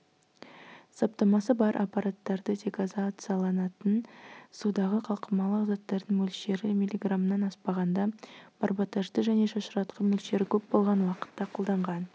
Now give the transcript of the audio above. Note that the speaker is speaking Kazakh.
саптамасы бар аппараттарды дегазацияланатын судағы қалқымалы заттардың мөлшері миллиграммнан аспағанда барботажды және шашыратқышты мөлшері көп болған уақытта қолданған